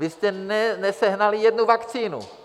Vy jste nesehnali jednu vakcínu.